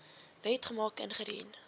wet gemaak ingedien